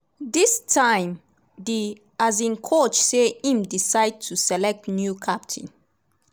dis time di coach say im decide to to select new captain.